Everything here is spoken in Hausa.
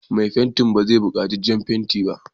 Mai fentin ba zai buƙaci jan fenti ba?